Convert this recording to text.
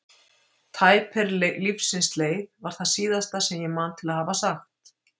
Tæp er lífsins leið, var það síðasta sem ég man til að hafa sagt.